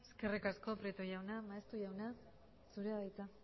eskerrik asko prieto jauna maeztu jauna zurea da hitza